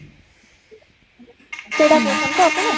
ସେଇଟା କହୁ ଛନ୍ତି ତ ଆପଣ ?